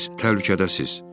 Siz təhlükədəsiniz!